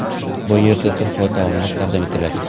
Bu yerda turfa taomlar taqdim etiladi.